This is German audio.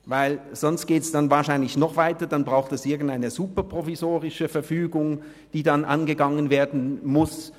Denn sonst geht es wahrscheinlich noch weiter, dann braucht es irgendeine super-provisorische Verfügung, die dann angegangen werden muss.